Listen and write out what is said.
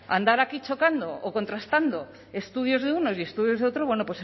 andar aquí chocando o contrastando estudios de unos y estudios de otros bueno